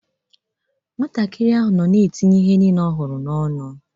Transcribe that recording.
Nwatakịrị ahụ nọ na-etinye ihe niile ọ hụrụ n’ọnụ.